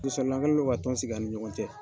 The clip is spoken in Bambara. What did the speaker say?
ka tɔn sigi an ni ɲɔgɔn cɛ.